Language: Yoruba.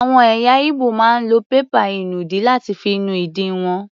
Àwọn ẹ̀yà Igbo máa ń lo pépà ìnùdí láti fi nu ìdí wọn.